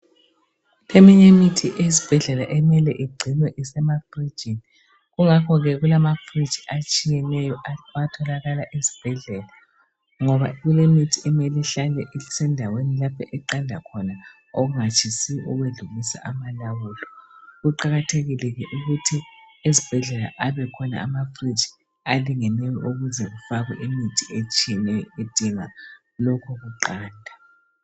Eminye imithi ezibhedlela emele igcinwe isemafrijini kungakho ke kulamafriji atshiyeneyo atholakala esbhedlela ngoba kulemithi emele ihlale isendaweni lapho eqanda khona okungatshisi okwedlulisa amalawulo. Kuqakathekile ke ukuthi ezibhedlela abekhona amafriji alingeneyo ukuze kufakwe imithi etshiyeneyo edinga lokhu kuqanda.